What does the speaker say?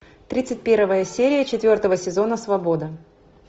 тридцать первая серия четвертого сезона свобода